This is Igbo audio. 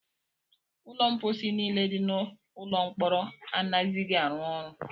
Ụlọ mposi niile dị n'ụlọ mkpọrọ anaghịzi arụ ọrụ.